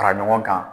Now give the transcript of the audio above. Fara ɲɔgɔn kan